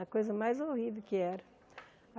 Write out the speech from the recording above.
A coisa mais horrível que era.